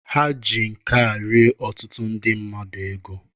Ha ji nke a rie ọtụtụ ndị mmadụ ego.